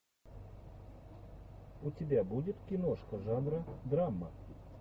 у тебя будет киношка жанра драма